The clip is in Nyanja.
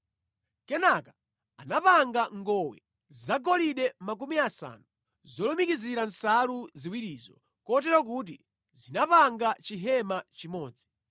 Kenaka anapanga ngowe zagolide 50 zolumikizira nsalu ziwirizo kotero kuti zinapanga chihema chimodzi.